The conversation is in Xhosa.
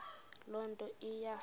loo nto iya